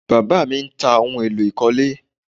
Bàbá mi ń ta ohun èlò ìkọ́lé